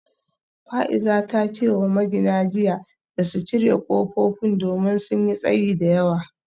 Fa’iza ta ce wa magina jiya da su cire kofofin domin sun yi tsayi da yawa